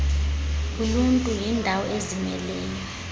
loluntu yindawo ezimeleyo